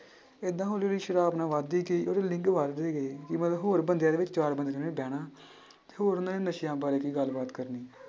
ਏਦਾਂ ਹੌਲੀ ਹੌਲੀ ਸ਼ਰਾਬ ਨਾ ਵੱਧਦੀ ਗਈ ਉਹਦੇ link ਵੱਧਦੇ ਗਏ ਕਿ ਮਤਲਬ ਹੋਰ ਬੰਦਿਆਂ ਦੇ ਵਿੱਚ ਚਾਰ ਬੰਦਿਆਂ 'ਚ ਉਹਨੇ ਬਹਿਣਾ ਹੋਰ ਨਸ਼ਿਆਂ ਬਾਰੇ ਕੋਈ ਗੱਲਬਾਤ ਕਰਨੀ।